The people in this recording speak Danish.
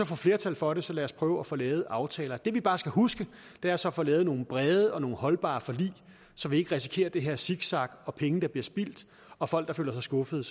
får flertal for det så lad os prøve at få lavet aftaler det vi bare skal huske er så at få lavet nogle brede og holdbare forlig så vi ikke risikerer det her zigzag og penge der bliver spildt og folk der føler sig skuffet